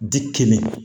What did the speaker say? Di kɛnɛ